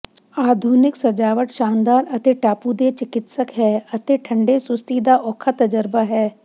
ਆਧੁਨਿਕ ਸਜਾਵਟ ਸ਼ਾਨਦਾਰ ਅਤੇ ਟਾਪੂ ਦੇ ਚਿਕਿਤਸਕ ਹੈ ਅਤੇ ਠੰਢੇ ਸੁਸਤੀ ਦਾ ਔਖਾ ਤਜਰਬਾ ਹੈ